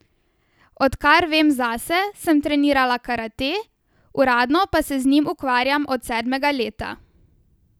Od kar vem zase, sem trenirala karate, uradno pa se z njim ukvarjam od sedmega leta.